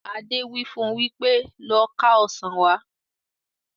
Adé wí fún wípé "Lọ ká Ọ̀sán wá"!